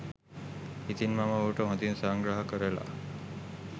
ඉතින් මම ඔහුට හොඳින් සංග්‍රහ කරලා